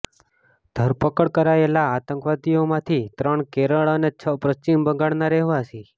ધરપકડ કરાયેલા આતંકવાદીઓમાંથી ત્રણ કેરળ અને છ પશ્ચિમ બંગાળના રહેવાસી